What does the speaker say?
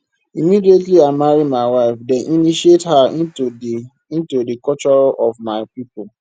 immediately i marry my wife dem initiate her into di into di culture of my pipo